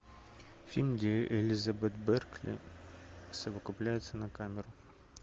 фильм где элизабет беркли совокупляется на камеру